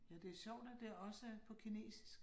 Ja, det sjovt at det også er på kinesisk